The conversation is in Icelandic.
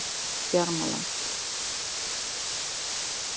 Bjarmalandi